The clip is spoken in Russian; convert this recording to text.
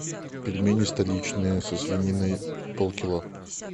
пельмени столичные со свининой полкило